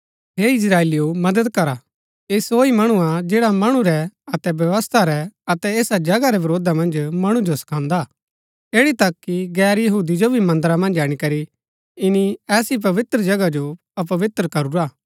हे इस्त्राएलिओ मदद करा ऐह सो ही मणु हा जैडा मणु रै अतै व्यवस्था रै अतै ऐसा जगहा रै वरोधा मन्ज मणु जो सखांदा ऐड़ी तक कि गैर यहूदी जो भी मन्दरा मन्ज अणीकरी ईनी ऐसा पवित्र जगह जो अपवित्र करूरा हा